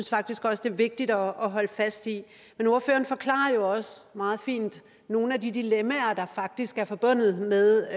faktisk også det er vigtigt at holde fast i men ordføreren forklarer jo også meget fint nogle af de dilemmaer der faktisk er forbundet med